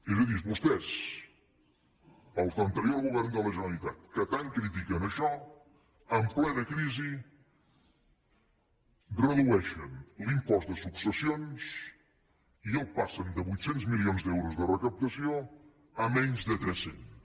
és a dir vostès els de l’anterior govern de la generalitat que tant critiquen això en plena crisi redueixen l’impost de successions i el passen de vuit cents milions d’euros de recaptació a menys de tres cents